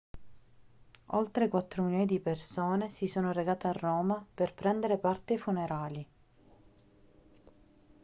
oltre quattro milioni di persone si sono recate a roma per prendere parte ai funerali